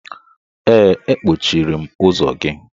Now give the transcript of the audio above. Ee, akpọchiri m ụzọ gị.